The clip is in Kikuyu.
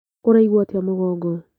Ũraigua atĩa mũgongo?